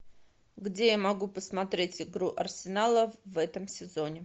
где я могу посмотреть игру арсенала в этом сезоне